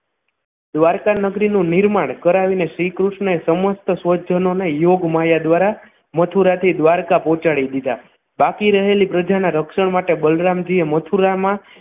દ્વારકા નગરી નું નિર્માણ કરાવીને શ્રીકૃષ્ણએ સમસ્ત સ્વજનોને યોગમાયા દ્વારા મથુરા થી દ્વારકા પહોંચાડી દીધા બાકી રહેલી પ્રજાના રક્ષણ માટે બલરામજી એ મથુરામાં